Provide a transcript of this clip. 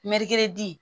di